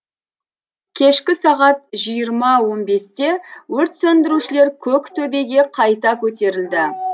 кешкі сағат жиырма он бесте өрт сөндірушілер көк төбеге қайта көтерілді